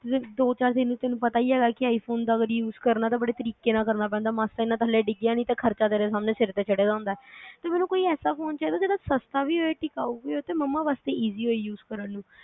ਦੋ ਚਾਰ ਦਿਨ ਤੈਨੂੰ ਪਤਾ ਈ ਹੈਗਾ ਕਿ iphone ਦਾ ਅਗਰ use ਕਰਨਾ ਤਾ ਬੜੇ ਤਰੀਕੇ ਨਾਲ ਕਰਨਾ ਪੈਦਾ ਮਾਸਾ ਜਿਨ੍ਹਾਂ ਥੱਲੇ ਡਿੱਗਿਆ ਨਹੀ ਤੇ ਖਰਚਾ ਤੇਰੇ ਸਾਹਮਣੇ ਸਿਰ ਤੇ ਚੜ੍ਹ ਜਾਦਾ